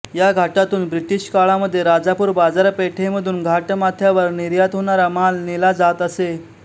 या घाटातून ब्रिटिश काळामध्ये राजापूर बाजारपेठेमधून घाटमाथ्यावर निर्यात होणारा माल नेला जात असे